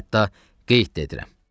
Hətta qeyd də edirəm.